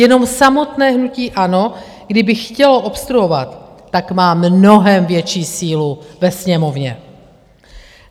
Jenom samotné hnutí ANO, kdyby chtělo obstruovat, tak má mnohem větší sílu ve Sněmovně.